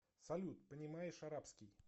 салют понимаешь арабский